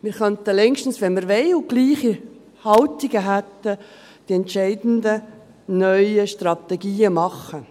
Wir könnten längstens, wenn wir wollten und gleiche Haltungen hätten, die entscheidenden neuen Strategien machen.